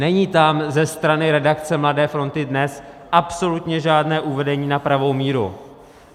Není tam ze strany redakce Mladé fronty DNES absolutně žádné uvedení na pravou míru.